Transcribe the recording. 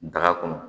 Daga kɔnɔ